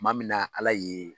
Kuma min na ala ye